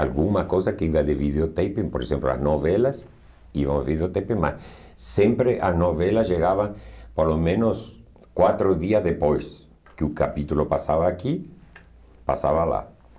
Alguma coisa que ia de videotape, por exemplo, as novelas, iam videotape, mas sempre as novelas chegavam pelo menos quatro dias depois que o capítulo passava aqui, passava lá.